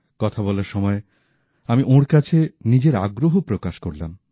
কথা বলার সময় আমি ওঁর কাছে নিজের আগ্রহ প্রকাশ করলাম